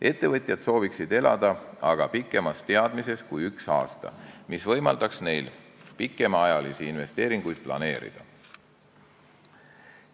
Ettevõtjad sooviksid elada aga pikema teadmisega kui üks aasta, see võimaldaks neil pikemaajalisi investeeringuid planeerida.